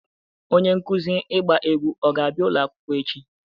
Onye nkuzi ịgba egwu ọ ga-abịa ụlọ akwụkwọ echi?